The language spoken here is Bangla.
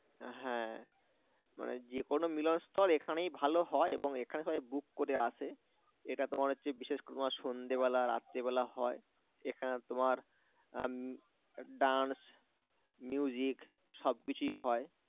হ্যাঁ মানে যে কোন মিলনস্থল এখানেই ভালো হয় এবং এখানে সবাই book করে আসে এটা তোমার হচ্ছে বিশেষ করে তোমার সন্ধ্যেবেলা রাত্রিবেলা হয় এখানে তোমার আহ dance সব কিছুই হয়